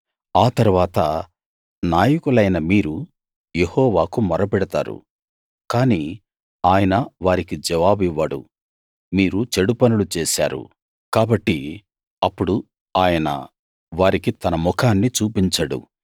ఆ తరువాత నాయకులైన మీరు యెహోవాకు మొరపెడతారు కానీ ఆయన వారికి జవాబివ్వడు మీరు చెడు పనులు చేశారు కాబట్టి అప్పుడు ఆయన వారికి తన ముఖాన్ని చూపించడు